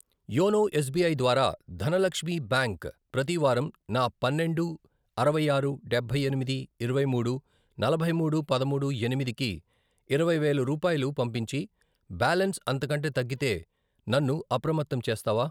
YONO S B I ద్వారా Dhanalakshmi bank ప్రతివారం నా పన్నెండు, అరవై ఆరు, డబ్బై ఎనిమిది, ఇరవై మూడు, నలభై మూడు, పదమూడు, ఎనిమిది, కి ఇరవై వేలు రూపాయలు పంపించి, బ్యాలన్స్ అంతకంటే తగ్గితే నన్ను అప్రమత్తం చేస్తావా?